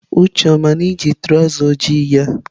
Uche ọ ma na ị ji traụza ojii ya?